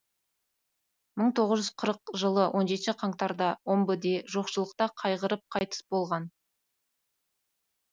мың тоғыз жүз қырық жылы он жетінші қаңтарда омбыте жоқшылықта қайғырып қайтыс болған